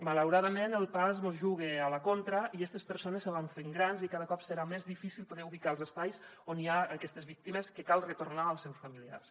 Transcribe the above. malauradament el pas mos juga a la contra i estes persones se van fent grans i cada cop serà més difícil poder ubicar els espais on hi ha aquestes víctimes que cal retornar als seus familiars